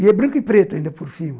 E é branco e preto ainda por cima.